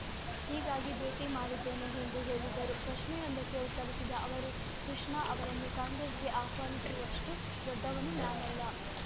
ಹೀಗಾಗಿ ಭೇಟಿ ಮಾಡಿದ್ದೇನೆ ಎಂದು ಹೇಳಿದರು ಪ್ರಶ್ನೆಯೊಂದಕ್ಕೆ ಉತ್ತರಿಸಿದ ಅವರು ಕೃಷ್ಣ ಅವರನ್ನು ಕಾಂಗ್ರೆಸ್‌ಗೆ ಆಹ್ವಾನಿಸುವಷ್ಟುದೊಡ್ಡವನು ನಾನಲ್ಲ